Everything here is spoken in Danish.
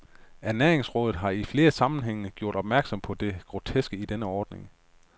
Ernæringsrådet har i flere sammenhænge gjort opmærksom på det groteske i denne ordning.